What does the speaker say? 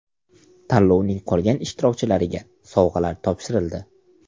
Tanlovning qolgan ishtirokchilariga sovg‘alar topshirildi.